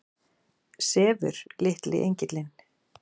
Sefur litli engillinn?